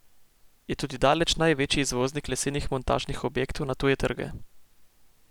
Je tudi daleč največji izvoznik lesenih montažnih objektov na tuje trge.